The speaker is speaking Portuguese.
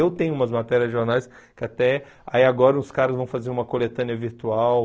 Eu tenho umas matérias de jornais que até aí agora os caras vão fazer uma coletânea virtual.